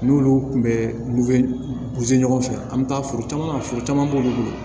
N'olu kun bɛ ɲɔgɔn fɛ an bɛ taa foro caman furu caman b'olu bolo